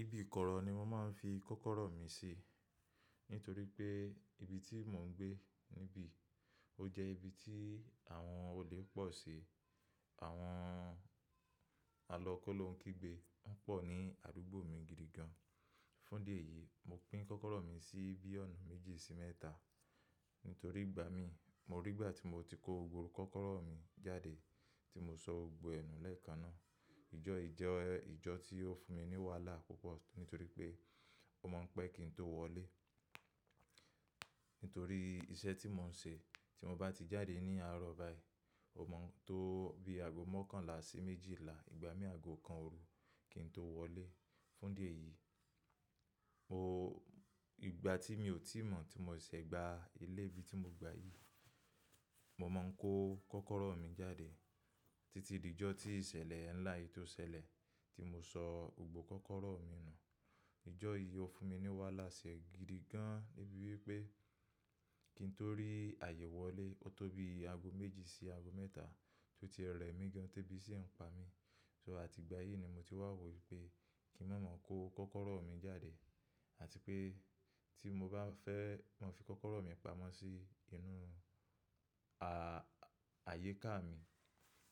Ibi ìkọ̀rọ̀ ni mo máa ń fi kọ́kọ́rọ́ mi sí, nítorí pé ibi tí mò ń gbé níbí, ó jẹ́ ibi tí àwọn olè pọ̀ sí. Àwọn àlọ kóló ń kígbe, wọ́n pọ̀ ní àdúgbò mi gidi gan. Fún idí èyí, mo pín kọ́kọ́rọ́ mi sí bí ọ̀nà méjì sí mẹ́ta. Nítorí ìgbà mí, mo rí ìgbà tí mo ti kó gbogbo kọ́kọ́rọ́ mi jáde tí mo sọ gbogbo ẹ nù lẹ́ẹ̀kan náà. Ìjọ́ yìí jẹ́ ìjọ́ tí ó fún mi ní wàhálà púpọ̀ nítorí pé ó máa ń pẹ́ kí n tó wọlé. Nítorí iṣẹ́ tí mò ń se, tí mo bá ti jáde ní àárọ̀ báyìí, ó mọ n tó bí aago mọkànlá sí méjìlá, ìgbà mí aago kan òru kí n tó wọlé. Fún díẹ̀ yìí, ìgbà tí mi ò tíì mọ̀ tí mo ṣẹ̀ṣẹ̀ gba ilé ibi tí mo gba yìí, mo máa ń kó kọ́kọ́rọ́ mi jáde títí di ìjọ́ tí ìsẹ̀lẹ̀ ńlá yìí tó sẹlẹ̀ tí mo sọ gbogbo kọ́kọ́rọ́ mi nù. Ìjọ́ yìí ó fún mi ní wàhálà se gidi gan, débi wipé kí n tó rí àyè wọlé ó tó bí aago méjì sí aago mẹ́ta tí ó ti rẹ mí gan tebí sí ń pa mí. So àti ìgbà yìí ni mo ti wá wò wipé kí n ma mọ kó kọ́kọ́rọ́ mi jáde àti pé tí mo bá fẹ́ máa fi kọ́kọ́rọ́ mi pamọ́ sí inú ààyíká mi,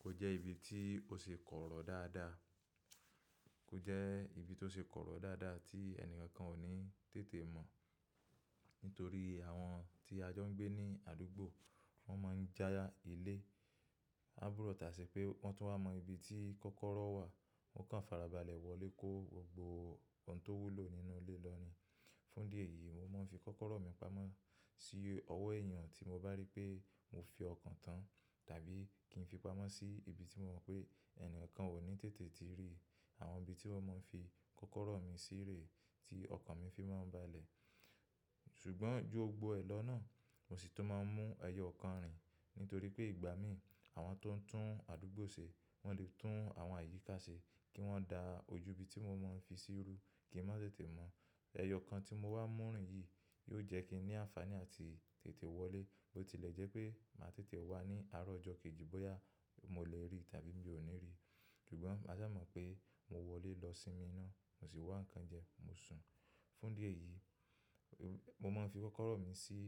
kó jẹ́ ibi tí ó ṣe kọ̀rọ̀ dáadáa, kó jẹ́ ibi tó ṣe kọ̀rọ̀ dáadáa tí ẹni kan ò ní tètè mọ̀. Nítorí àwọn tí a jọ ń gbé ní àdúgbò, wọ́n máa ń já ilé. Án búrọ̀ tà se pé wọ́n tún wa mọ ibi tí kọ́kọ́rọ́ wà, wọ́n kàn farabalẹ̀ wọlé kó gbogbo ohun tó wúlò nínú ilé lọ ní. Fún ìdí èyí, mo máa ń fi kọ́kọ́rọ́ mi pamọ́ sí ọwọ́ èèyàn tí mo bá rí pé mo fi ọkàn tán tàbí kí n fi pamọ́ sí ibi tí mo mọ̀ pé ẹnìkan kan ò ní tètè ti rí. Àwọn ibi tí wọ́n máa ń fi kọ́kọ́rọ́ mi sí rèé tí ọkàn mi fi máa ń balẹ̀. Ṣùgbọ́n ju gbogbo ẹ̀ lọ náà, mo sì tún máa ń mú ẹyọ ọkàn rìn, nítorí pé ìgbà mí àwọn tó ń tún àdúgbò se, wọ́n lè tún àwọn àyíká se kí wọ́n da ojú ibi tí mo máa ń fi sí rú kí n má tètè mọ̀. Ẹyọ ọkàn tí mo wá mú rìn yìí yóò jẹ́ kí n ní àǹfàní àti tètè wọlé, bó tilẹ̀ jẹ́ pé màá tètè wá ní àárọ̀ ọjọ́ kejì bóyá mo lè rí tàbí mi ò ní rí. Ṣùgbọ́n ma sa mọ̀ pé mo wọlé lọ sí mi ná, mo sì wá ń kan jẹ, mo sùn. Fún ìdí èyí, mo mọ ń fi kọ́kọ́rọ́ mi sí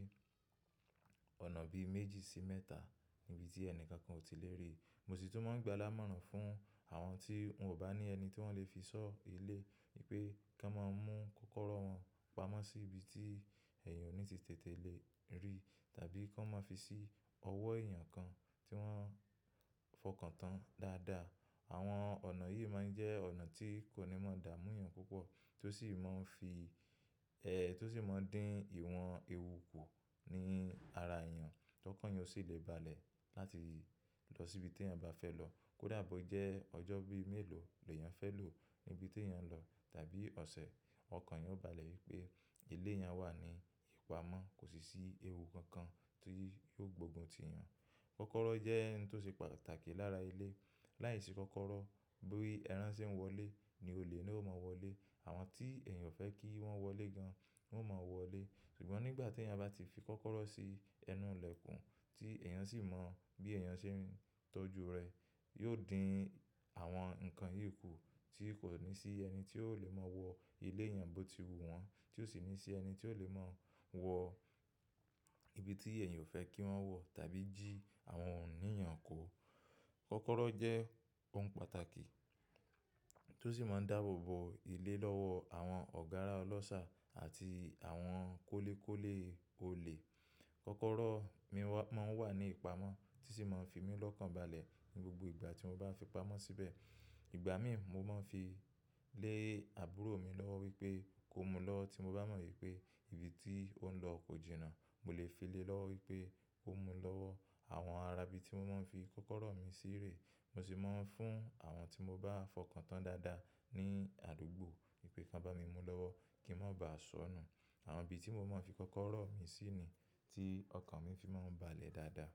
ọ̀nà bí méjì sí mẹ́ta níbi tí ẹnìkan kan ò tí lè rí. Mo sì tún máa ń gba lámọ̀ràn fún àwọn tí wọ́n ò bá ní ẹni tí wọ́n lè fi sọ́ ilé wipé kí wọ́n máa mú kọ́kọ́rọ́ wọn pamọ́ sí ibi tí èèyàn ò ní ti tètè lè rí tàbí kí wọ́n máa fi sí ọwọ́ èèyàn kan tí wọ́n fọkàn tán dáadáa. Àwọn ọ̀nà yìí máa ń jẹ́ ọ̀nà tí kò ní mọ̀ dá múyàn púpọ̀ tó sì máa ń fi, ẹ́ tó sì máa ń dín ìwọ̀n ewu kù ní ara èèyàn. Kọkọ̀ọ̀yàn o sì lè balẹ̀ láti lọ síbi tí èèyàn bá fẹ́ lọ. Kódà bó jẹ́ ọjọ́ bí i mélòó ni èèyàn fẹ́ lò níbi tí èèyàn ń lọ tàbí ọ̀sẹ̀, ọkàn yan ó balẹ̀ wípé ilé èèyàn wà ní ìpamọ́, kò sì sí ewu kankan tí yóò gbógun ti èèyàn. Kọ́kọ́rọ́ jẹ́ ohun tó ṣe pàtàkì lára ilé. Láìsí kọ́kọ́rọ́, bí i ẹran se ń wọlé ni olè na ó mọ wọlé. Àwọn tí èèyàn fẹ́ kí wọ́n wọlé gan, wọn máa wọlé. Ṣùgbọ́n nígbà tí èèyàn bá ti fi kọ́kọ́rọ́ sí ẹnu ilẹ̀kùn tí èèyàn sì mọ bí èèyàn ṣe ń tọ́jú rẹ̀, yóò dín àwọn nǹkan yìí kù tí kò ní sí ẹni tí ò lè mọ wọ ilé èèyàn bó ti wu wọ́n, tí ò sì ní sí ẹni tí ò lè mọ wọ ibi tí èèyàn ò fẹ́ kí wọ́n wọ tàbí jí àwọn òhun iní yàn kọ́. Kọ́kọ́rọ́ jẹ́ ohun pàtàkì tó sì máa ń dáàbòbò ilé lọ́wọ́ àwọn ọ̀gárà ọlọ́ṣà àti àwọn kólékólé olè. Kọ́kọ́rọ́ mi máa ń wà ní ìpamọ́ tí sì máa ń fi mí lọ́kàn balẹ̀ ní gbogbo ìgbà tí mo bá fi pamọ́ síbẹ̀. Ìgbà mí mo máa ń fi lé àbúrò mi lọ́wọ́ wípé kó mú lọ́wọ tí mo bá mọ̀ wípé ibi tí ó ń lọ kò jìnnà. Mo lè fi lé lọ́wọ́ wípé kó mú lọ́wọ́. Àwọn ara ibi tí mo máa ń fi kọ́kọ́rọ́ mi sí rèé, mo sì máa ń fún àwọn tí mo bá fọkàn tán dáadáa ní àdúgbò wípé kí wọ́n bá mi mú lọ́wọ́ kí n má bá sọnù. Àwọn ibi tí mo máa ń fi kọ́kọ́rọ́ mi sí ni tí ọkàn mi fi máa ń balẹ̀ dáadáa.